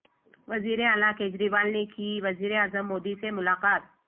وزیر اعلی کیجریوال نے کی وزیر اعظم مودی سے ملاقات